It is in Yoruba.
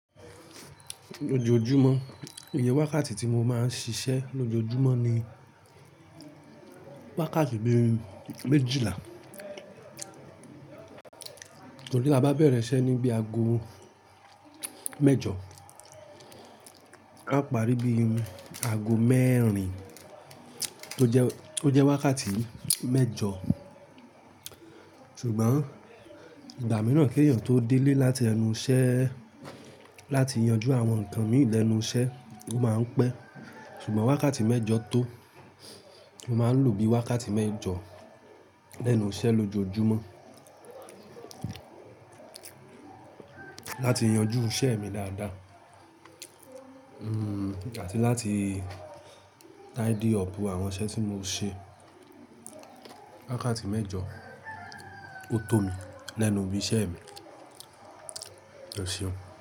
Lójojúmọ́ iye wákàtí tí mo máa ń ṣiṣẹ́ lójoojúmọ́ ni wákàtí méjìlá, torí tá a bá bẹ̀rẹ̀ iṣẹ́ ní bíi ago mẹ́jọ, á parí bíi ago mẹ́rin tó jẹ́, tó jẹ́ wákàtí mẹ́jọ. Ìgbà mìíràn kí ènìyàn tó délé láti ẹnu iṣẹ́, láti yanjú àwọn nǹkan mìí lẹ́nu iṣẹ́, ó máa ń pẹ́. Ṣùgbọ́n wákàtí mẹ́jọ tó, mo máa ń lò bí i wákàtí mẹ́jọ lẹ́nu iṣẹ́ lójoojúmọ́ láti yanjú iṣẹ́ mi dáadáa. Hmm, àti láti tidy up àwọn iṣẹ́ tí mo ṣe. Wákàtí mẹ́jọ ó tó mi lẹ́nu ibi iṣẹ́ mi. Ẹ ṣeun.